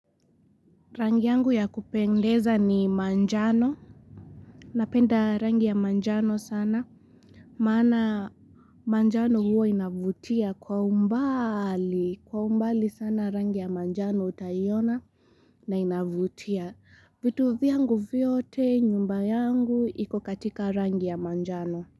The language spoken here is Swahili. Rangi yangu ya kupendeza ni manjano napenda rangi ya manjano sana maana manjano huwa inavutia kwa umbali kwa umbali sana rangi ya manjano utaiona na inavutia vitu vyangu vyote nyumba yangu ikokatika rangi ya manjano.